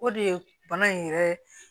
O de ye bana in yɛrɛ